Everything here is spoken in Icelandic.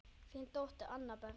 Þín dóttir, Anna Berg.